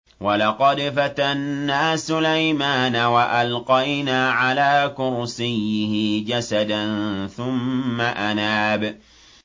وَلَقَدْ فَتَنَّا سُلَيْمَانَ وَأَلْقَيْنَا عَلَىٰ كُرْسِيِّهِ جَسَدًا ثُمَّ أَنَابَ